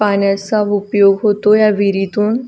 पाण्याचा उपयोग होतो ह्या विहीरीतून.